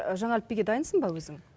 жаңа әліпбиге дайынсың ба өзің